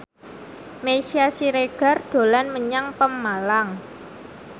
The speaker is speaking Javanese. Meisya Siregar dolan menyang Pemalang